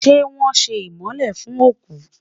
ṣé wón sé imole fún oku?